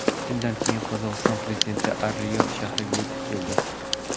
Shundan keyin Qozog‘iston prezidenti Ar-Riyod shahriga yetib keldi.